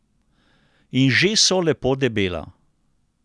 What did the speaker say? In že so lepo debela!